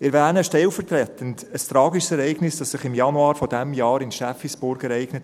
Ich erwähne stellvertretend ein tragisches Ereignis, das sich im Januar dieses Jahres in Steffisburg ereignete: